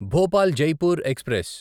Bhopal Jaipur express